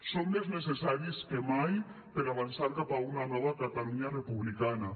són més necessaris que mai per avançar cap a una nova catalunya republicana